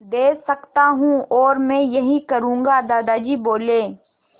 दे सकता हूँ और मैं यही करूँगा दादाजी बोले